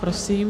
Prosím.